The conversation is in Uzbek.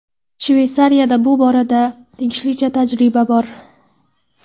Shveysariyada bu borada tegishlicha tajriba bor.